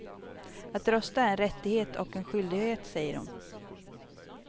Att rösta är en rättighet och en skyldighet, säger hon.